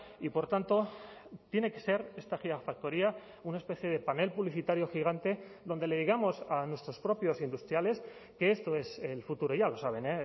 y por tanto tiene que ser esta gigafactoría una especie de panel publicitario gigante donde le digamos a nuestros propios industriales que esto es el futuro ya lo saben